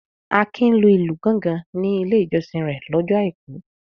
Akin lu ìlù gọ́ngọn ní Ilé-ìjọsìn rẹ̀ lọ́jọ́ àìkú.